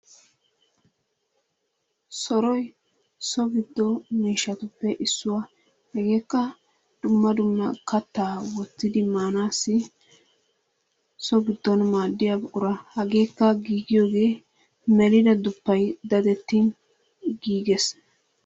Sorroy soo giddo mishatuppe issuwa, hegekka dumma duma katta wottidi manassi soo giddon madiyaa buqura, hegekka gigiyoy mellidaa dufayi dadettin gigees.